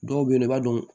Dɔw bɛ yen nɔ i b'a dɔn